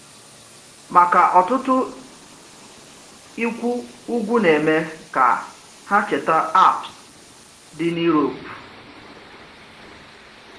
Maka ọtụtụ, ikwu ugwu na-eme ka ha cheta Alps dị n’Europe.